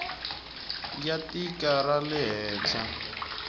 ya tiko ra le handle